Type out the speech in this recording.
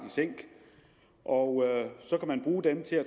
i sænk og så kan man bruge dem til at